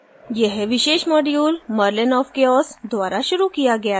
यह विशेष module merlinofchaos द्वारा शुरू किया गया था